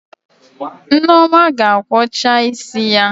Nneoma ga-akwọcha isi ya